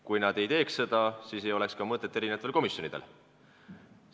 Kui nad seda ei teeks, siis ei oleks eri komisjonidel ka mõtet.